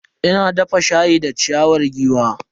Ina dafa shayi da ciyawar giwa.